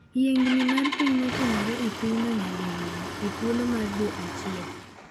Yiengni mar piny motiomore e pinyno nyadiriyo e thuolo mar dwe achiel.